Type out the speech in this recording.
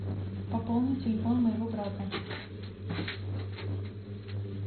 пополни телефон моего брата